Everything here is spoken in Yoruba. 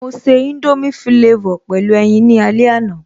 Mo se indomie flavor pẹ̀lú ẹyin ní alẹ́ àná